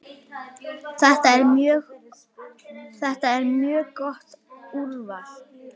Þetta er mjög gott úrval.